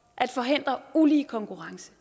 at forhindre ulige konkurrence